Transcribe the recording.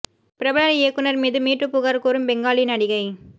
பிரபல இயக்குனர் மீது மீ டூ புகார் கூறும் பெங்காலி நடிகை